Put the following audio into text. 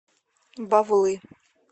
бавлы